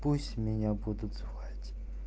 пусть меня будут звать